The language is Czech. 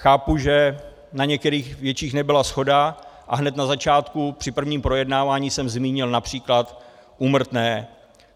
Chápu, že na některých větších nebyla shoda, a hned na začátku při prvním projednávání jsem zmínil například úmrtné.